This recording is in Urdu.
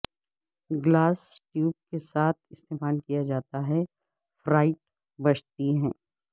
گلاس ٹیوب کے ساتھ استعمال کیا جاتا ہے فیرائٹ بجتی ہے